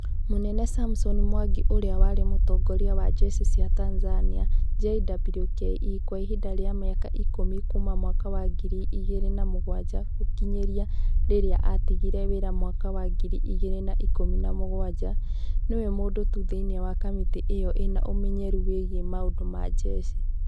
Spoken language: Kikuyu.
Mũnene Samson Mwangi ũrĩa warĩ mũtongoria wa njeshi cia Tanzania (JWKE) kwa ihinda rĩa mĩaka ikũmi kuuma mwaka wa ngiri igĩrĩ na mũgwanja gũkinyĩra rĩrĩa atigire wĩra mwaka wa ngiri igĩrĩ na ikũmi na mũgwanja, nĩwe mũndũ tu thĩinĩ wa kamĩtĩ ĩyo ĩna ũmenyeru wĩgiĩ maũndũ ma njeshi.